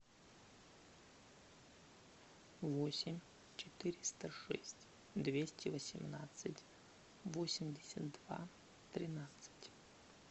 восемь четыреста шесть двести восемнадцать восемьдесят два тринадцать